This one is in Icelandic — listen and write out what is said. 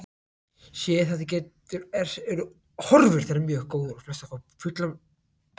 Sé þetta gert eru horfur þeirra mjög góðar og flest fá fullan bata.